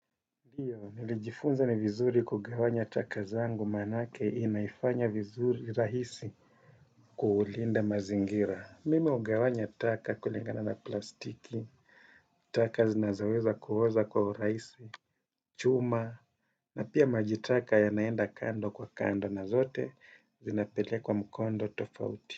Ndio, nilijifunza ni vizuri kugawanya taka zangu manake inaifanya vizuri rahisi kuulinda mazingira. Mimi ugawanya taka kulingana na plastiki, taka zinazoweza kuoza kwa uraisi, chuma, na pia majitaka yanaenda kando kwa kando na zote zinapelekwa mkondo tofauti.